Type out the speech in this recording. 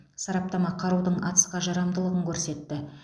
сараптама қарудың атысқа жарамдылығын көрсетті